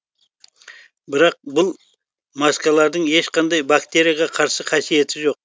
бірақ бұл маскалардың ешқандай бактерияға қарсы қасиеті жоқ